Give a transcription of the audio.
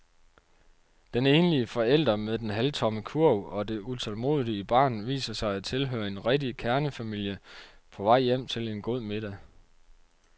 Den enlige forælder med den halvtomme kurv og det utålmodige barn viser sig at tilhøre en rigtig kernefamilie på vej hjem til en god middag.